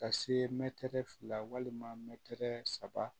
Ka se mɛtiri fila walima mɛtiri saba